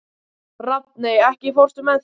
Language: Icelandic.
Rafney, ekki fórstu með þeim?